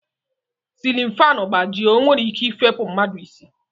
Silin fanụ gbajie o nwere ike ifepu mmadụ isi.